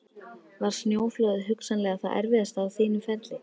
Var snjóflóðið hugsanlega það erfiðasta á þínu ferli?